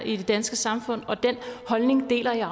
i det danske samfund og den holdning deler jeg